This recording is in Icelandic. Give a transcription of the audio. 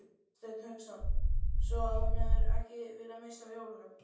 Hafsteinn Hauksson: Svo hún hefur ekki viljað missa af jólunum?